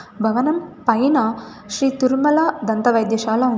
భవనం పైన శ్రీ తిరుమల దంత వైద్యశాల ఉంది.